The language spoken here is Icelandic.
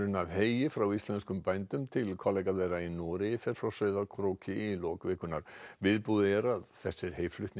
af heyi frá íslenskum bændum til kollega þeirra í Noregi fer frá Sauðárkróki í lok vikunnar viðbúið er að þessir